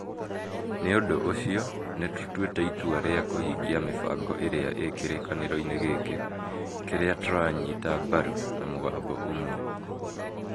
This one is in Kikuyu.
"Nĩ ũndũ ũcio, nĩ tũtuĩte itua rĩa kũhingia mĩbango ĩrĩa ĩ kĩrĩkanĩro-inĩ gĩkĩ, kĩrĩa tũranyiga mbaru na mũgambo ũmwe".